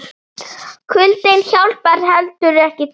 Kuldinn hjálpar heldur ekki til.